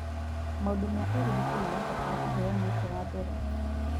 Maũndũ ma ũgitĩri marabatara kũheo mweke wa mbere.